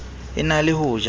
e na le ho ja